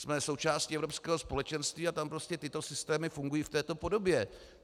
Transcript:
Jsme součástí Evropského společenství a tam prostě tyto systémy fungují v této podobě.